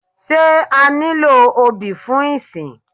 Sé a nílò obì fún ìsìn?